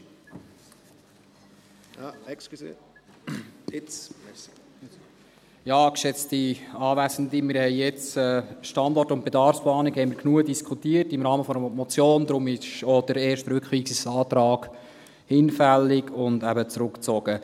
Wir haben über die Standort- und Bedarfsplanung im Rahmen der Motion genug diskutiert, deshalb ist auch der erste Rückweisungsantrag hinfällig und wurde eben zurückgezogen.